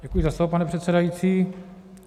Děkuji za slovo, pane předsedající.